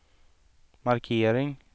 markering